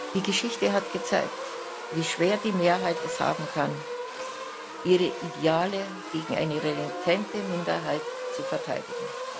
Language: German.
Die Geschichte hat gezeigt, wie schwer die Mehrheit es haben kann, ihre Ideale gegen eine renitente Minderheit zu verteidigen.